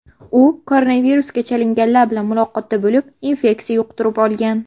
U koronavirusga chalinganlar bilan muloqotda bo‘lib, infeksiya yuqtirib olgan.